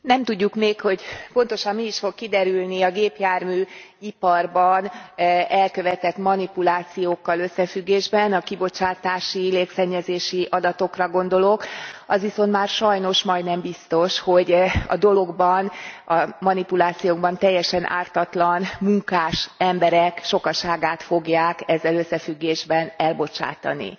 Nem tudjuk még, hogy pontosan mi is fog kiderülni a gépjárműiparban elkövetett manipulációkkal összefüggésben, a kibocsátási illetve légszennyezési adatokra gondolok, az viszont már sajnos majdnem biztos, hogy a dologban, a manipulációkban teljesen ártatlan munkás emberek sokaságát fogják ezzel összefüggésben elbocsátani.